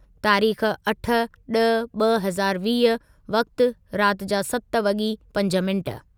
तारीख़ अठ ॾह ॿ हज़ार वीह वक़्ति रात जा सत वॻी पंज मिनिट